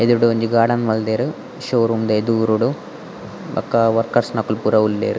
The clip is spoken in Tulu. ಎದುರುಡ್ ಒಂಜಿ ಗಾರ್ಡನ್ ಮಲ್ದೆರ್ ಶೋ ರೂಮ್ದ ಎದೂರುಡು ಬೊಕ ವರ್ಕರ್ಸ್ ನಕುಲು ಪೂರ ಉಲ್ಲೆರ್.